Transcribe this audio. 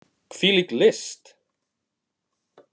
Hvílík list!